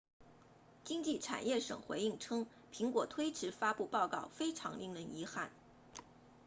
经济产业省回应称苹果推迟发布报告非常令人遗憾